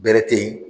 Bɛrɛ te yen